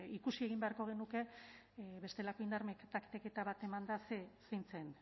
ikusi egin beharko genuke bestelako indar taktiketa bat emanda zein zen